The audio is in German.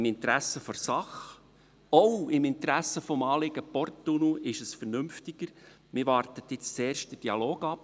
Im Interesse der Sache, auch im Interesse des Anliegens Porttunnel, ist es vernünftiger, wenn man jetzt zuerst den Dialog abwartet.